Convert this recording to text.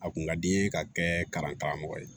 A kun ka di n ye ka kɛ kalan karamɔgɔ ye